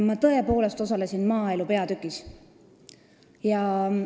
Ma tõepoolest osalesin maaelupeatüki läbirääkimistel.